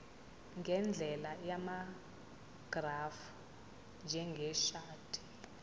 ngendlela yamagrafu njengeshadi